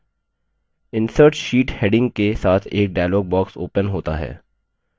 insert sheet heading के साथ एक dialog box opens होता है